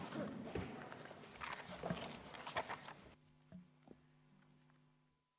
Istungi lõpp kell 14.00.